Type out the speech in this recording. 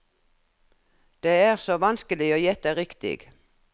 Det er så vanskelig å gjette riktig.